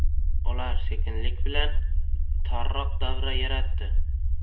Ular sekinlik bilan torroq davra yaratdi.